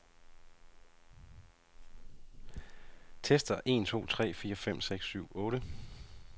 Tester en to tre fire fem seks syv otte.